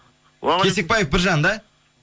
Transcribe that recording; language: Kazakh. кесекбаев біржан да